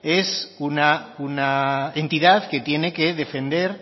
es una entidad que tiene que defender